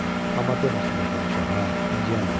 Amma demə ki mən vermişəm hə, inciyəllər.